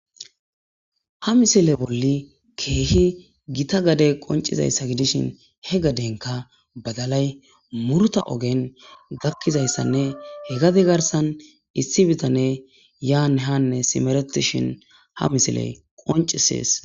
Ha misile bolli keehi gita gade qoncizayssa gidishin he gadenka badalay murta ogen gakkizayssanne he gade garsan issi bitane yaanhanne simeretishin ha misiley qoncisees.